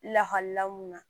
Lahala mun na